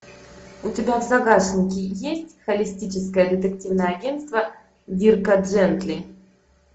у тебя в загашнике есть холистическое детективное агентство дирка джентли